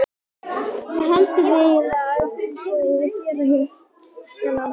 Hvað haldið þið eiginlega að þið séuð að gera hérna?